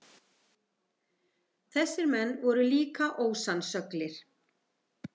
Þessir menn voru líka ósannsöglir.